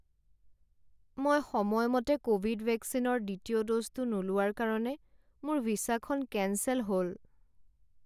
মই সময়মতে ক'ভিড ভেকচিনৰ দ্বিতীয় ড'জটো নোলোৱাৰ কাৰণে মোৰ ভিছাখন কেঞ্চেল হ'ল।